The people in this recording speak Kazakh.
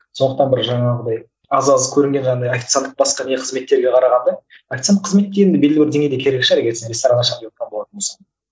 сондықтан бір жаңағыдай аз аз көрінген жаңағындай официанттық басқа не қызметтерге қарағанда официант қызметке енді белгілі бір деңгейде керек шығар егер сіз ресторан ашайын девотқан болатын болса